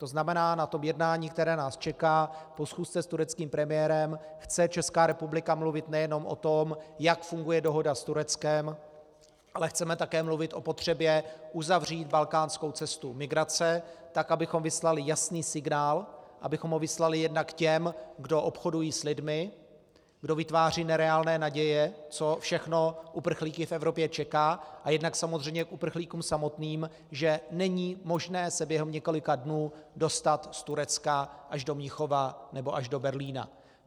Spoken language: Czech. To znamená, na tom jednání, které nás čeká, po schůzce s tureckým premiérem chce Česká republika mluvit nejenom o tom, jak funguje dohoda s Tureckem, ale chceme také mluvit o potřebě uzavřít balkánskou cestu migrace tak, abychom vyslali jasný signál, abychom ho vyslali jednak těm, kdo obchodují s lidmi, kdo vytváří nereálné naděje, co všechno uprchlíky v Evropě čeká, a jednak samozřejmě k uprchlíkům samotným, že není možné se během několika dnů dostat z Turecka až do Mnichova nebo až do Berlína.